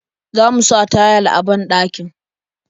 Zamu sa tayil a banɗakin.